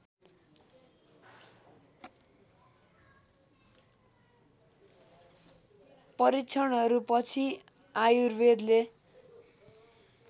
परीक्षणहरू पछि आयुर्वेदले